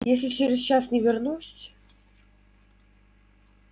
если через час не вернусь